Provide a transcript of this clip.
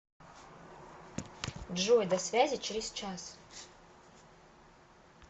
джой до связи через час